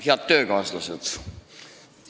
Head töökaaslased!